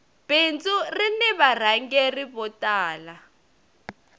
bindzu rini varhangeri vo tala